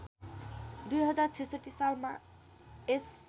२०६६ सालमा यस